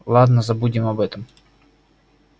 ладно забудем об этом